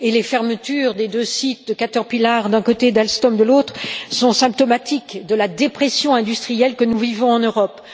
Les fermetures des deux sites de Caterpillar d'un côté et d'Alstom de l'autre sont symptomatiques de la dépression industrielle que nous vivons en Europe.